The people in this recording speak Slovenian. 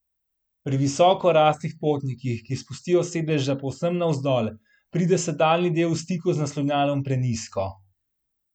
Pri visoko raslih potnikih, ki spustijo sedeža povsem navzdol, pride sedalni del v stiku z naslonjalom prenizko.